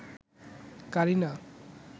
Kareena